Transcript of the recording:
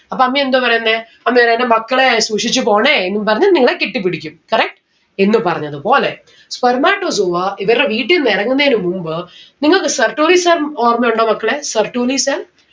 അപ്പൊ അമ്മി എന്ത പറയുന്നേ അമ്മി പറയും എന്റെ മക്കളെ സൂക്ഷിച്ച്‌ പോണേ എന്നും പറഞ്ഞ് നിങ്ങളെ കെട്ടിപ്പിടിക്കും correct എന്ന് പറഞ്ഞത് പോലെ spermatozoa ഇവരുടെ വീട്ടീന്ന് ഇറങ്ങുന്നെന് മുമ്പ് നിങ്ങൾക്ക് Sertoli cell ഓർമ്മയുണ്ടോ മക്കളെ? Sertoli cell